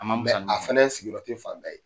A ma mɛ a fana sigiyɔrɔ tɛ fanda bƐƐ ye